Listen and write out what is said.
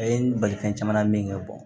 A ye n bali fɛn caman min kɛ